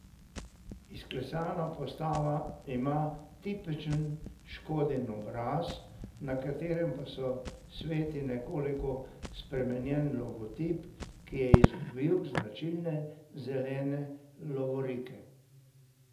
Izklesana postava ima tipičen Škodin obraz, na katerem pa se sveti nekoliko spremenjen logotip, ki je izgubil značilne zelene lovorike.